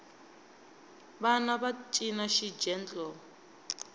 vana va cina xigentle